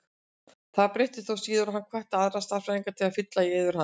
Það breyttist þó síðar og hann hvatti aðra stærðfræðinga til að fylla í eyður hans.